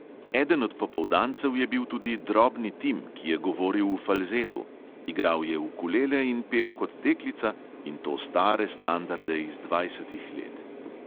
Eden od popoldancev je bil tudi drobni tim, ki je govoril v falzetu – igral je ukulele in pel kot deklica, in to stare standarde iz dvajsetih let.